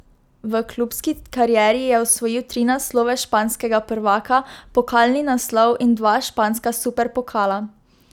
V klubski karieri je osvojil tri naslove španskega prvaka, pokalni naslov in dva španska superpokala.